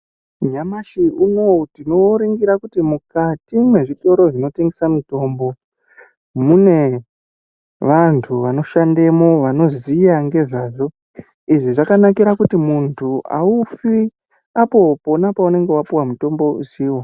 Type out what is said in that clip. Nyamashi unowu tinoringira kuti mukati mwezvitoro zvinotengesa mutombo mune vantu vanoshandemwo vanoziya ngezvazvo izvi zvakanakira kuti muntu aufi apo pona paunenge wapuwa mutombo usiwo.